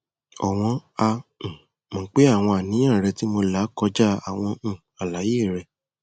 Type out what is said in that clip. ọwọn a um mọ pé àwọn àníyàn rẹ tí mo là kọjá àwọn um àlàyé rẹ